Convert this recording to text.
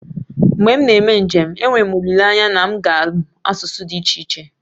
Mgbe m na-eme njem, enwere m olileanya na m ga-amụ asụsụ dị iche iche